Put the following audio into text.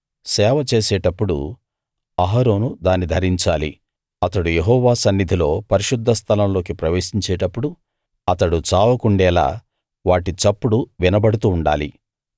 సేవ చేసేటప్పుడు అహరోను దాని ధరించాలి అతడు యెహోవా సన్నిధిలో పరిశుద్ధస్థలం లోకి ప్రవేశించేటప్పుడు అతడు చావకుండేలా వాటి చప్పుడు వినబడుతూ ఉండాలి